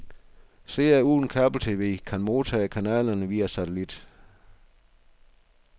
Seere uden kabel-tv kan modtage kanalerne via satellit.